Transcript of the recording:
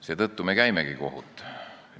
Seetõttu me käimegi kohut.